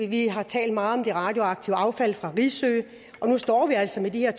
vi har talt meget om det radioaktive affald fra risø og nu står vi altså med de her